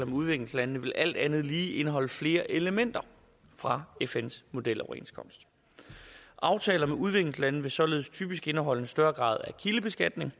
udviklingslandene vil alt andet lige indeholde flere elementer fra fns modeloverenskomst aftaler med udviklingslande vil således typisk indeholde en større grad af kildebeskatning